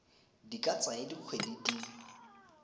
di ka tsaya dikgwedi di